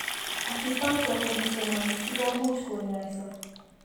Acupuncture ko kisomanjin ko much ko kaany'ayso.